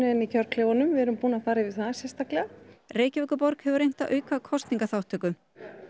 inni í kjörklefanum við erum búin að fara yfir það sérstaklega Reykjavíkurborg hefur reynt að auka kosningaþátttöku